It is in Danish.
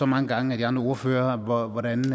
mange gange af de andre ordførere hvordan det